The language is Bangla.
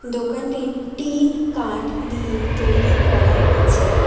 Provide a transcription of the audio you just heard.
দোকানটির টিন কাঠ দিয়ে তৈরি করা আছে।